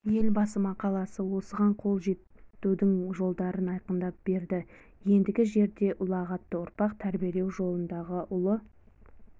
елбасы мақаласы осыған қол жетудің жолдарын айқындап берді ендігі жерде ұлағатты ұрпақ тәрбиелеу жолындағы ұлы